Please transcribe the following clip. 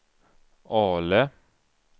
Ale